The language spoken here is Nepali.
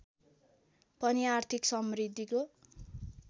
पनि आर्थिक समृद्धिको